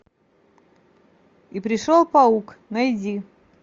и пришел паук найди